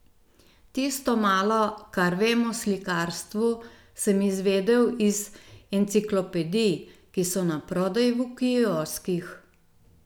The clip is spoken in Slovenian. Tisto malo, kar vem o slikarstvu, sem izvedel iz enciklopedij, ki so naprodaj v kioskih.